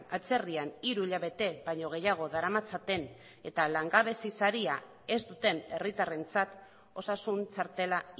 atzerrian hiru hilabete baino gehiago daramatzaten eta langabezi saria ez duten herritarrentzat osasun txartela